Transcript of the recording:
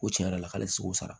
Ko tiɲɛ yɛrɛ la k'ale seko sara